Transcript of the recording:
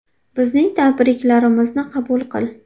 Bizning tabriklarimizni qabul qil.